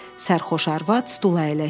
Sərxoş arvad stula əyləşdi.